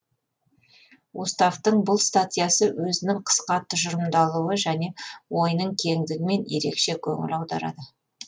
уставтың бұл статьясы өзінің қысқа тұжырымдалуы және ойының кеңдігімен ерекше көңіл аударады